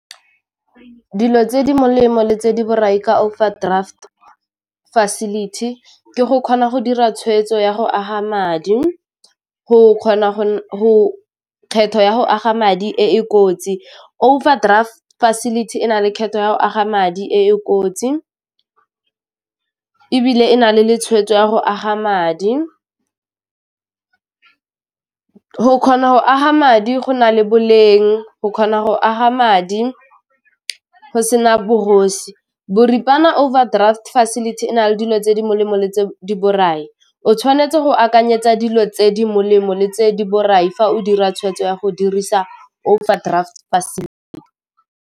Dilo tse di molemo le tse di borai ka overdraft facility ke go kgona go dira tshwetso ya go aga madi, go kgona go kgetho ya go aga madi e e kotsi, overdraft facility e na le kgetho ya go aga madi e e kotsi ebile e na le le tshwetso ya go aga madi , go kgona go aga madi go na le boleng, go kgona go aga madi go sena bogosi Boripana overdraft facility e na le dilo tse di molemo le tse di borai, o tshwanetse go akanyetsa dilo tse di molemo le tse di borai fa o dira tshwetso ya go dirisa overdraft .